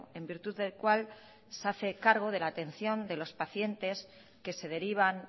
en virtud del cual se hace cargo de la atención de los pacientes que se derivan